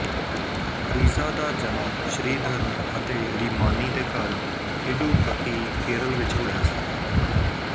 ਪ੍ਰੀਜਾ ਦਾ ਜਨਮ ਸ਼੍ਰੀਧਰਨ ਅਤੇ ਰੀਮਾਨੀ ਦੇ ਘਰ ਇਡੁਕਕੀ ਕੇਰਲ ਵਿੱਚ ਹੋਇਆ ਸੀ